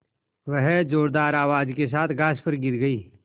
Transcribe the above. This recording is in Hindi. वह ज़ोरदार आवाज़ के साथ घास पर गिर गई